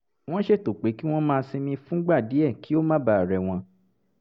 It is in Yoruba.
wọ́n ṣètò pé kí wọ́n máa sinmi fúngbà díẹ̀ kí ó má bàa rẹ̀ wọ́n